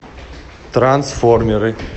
трансформеры